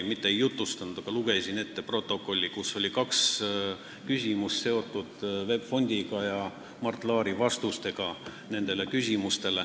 Ma mitte ei jutustanud ümber, vaid lugesin ette protokolli, kus oli kaks VEB Fondiga seotud küsimust ja Mart Laari vastused nendele küsimustele.